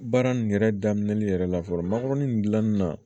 Baara nin yɛrɛ daminɛli yɛrɛ la fɔlɔ mangɔrɔnin nin dilanni na